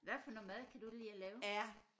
Hvad for noget mad kan du lide at lave